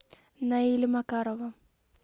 наиля макарова